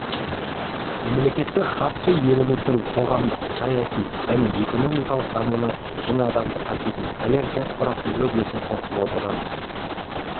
мемлекеттік хатшы еліміздің қоғамдық-саяси және экономикалық дамуына мың адамды қамтитын поляк диаспорасы өз үлесін қосып отырғанын